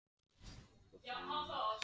Svona er samkeppnin